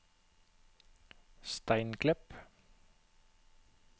Steinklepp